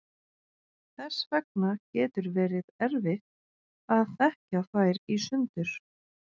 Þess vegna getur verið erfitt að þekkja þær í sundur.